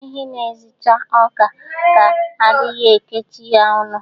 Ehi na-ezicha ọka a dighị ekechi ya ọnụ